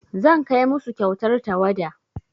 Zan kai musu kyautar tawada.